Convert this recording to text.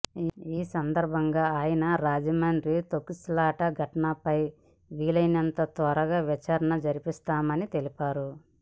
ఈ సందర్భంగా ఆయన రాజమండ్రి తొక్కిసలాట ఘటనపై వీలైనంత త్వరగా విచారణ జరిపిస్తామని తెలిపారు